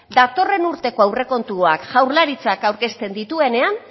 datorren urteko aurrekontuak jaurlaritzak aurkezten dituenena